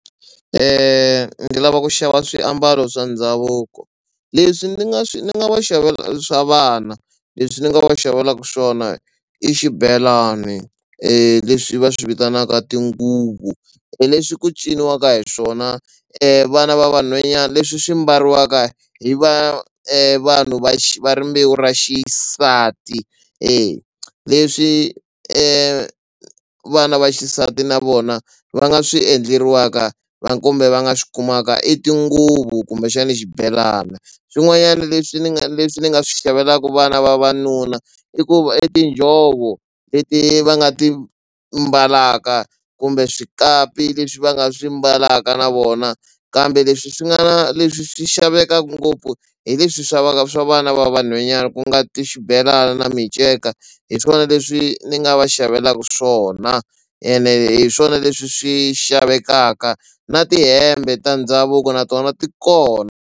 Ni lava ku xava swiambalo swa ndhavuko leswi ndzi nga swi nga va xavela swa vana leswi ni nga va xavela swona i xibelani leswi va swi vitanaka tinguvu hi leswi ku ciniwaka hi swona vana va vanhwanyana leswi swi mbariwaka hi va vanhu va va rimbewu ra xisati eya. Leswi vana va xisati na vona va nga swi endleriwaka kumbe va nga swi kumaka i tinguvu kumbexani xibelani. Swin'wanyana leswi ni nga leswi ni nga swi xavelaka vana vavanuna i ku va i tinjhovo leti va nga ti mbalaka kumbe swikapi leswi va nga swi mbalaka na vona kambe leswi swi nga leswi swi xavekaka ngopfu hi leswi hi swa vana va vanhwanyani ku nga ti xibelana na miceka hi swona leswi ni nga va xavelaka swona ene hi swona leswi swi xavekaka na tihembe ta ndhavuko na tona ti kona.